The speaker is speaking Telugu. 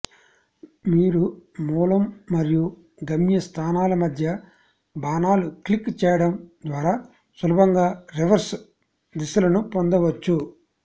మీరు మూలం మరియు గమ్య స్థానాల మధ్య బాణాలు క్లిక్ చేయడం ద్వారా సులభంగా రివర్స్ దిశలను పొందవచ్చు